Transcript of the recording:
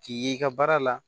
K'i ye i ka baara la